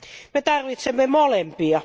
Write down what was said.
Me tarvitsemme molempia.